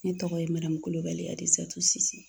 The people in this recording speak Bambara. Ne tɔgɔ ye Kulibali Adizatu Sise.